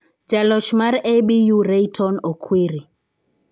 Jaloch mar ABU Rayton Okwiri